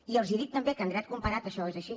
i els dic també que en dret comparat això és així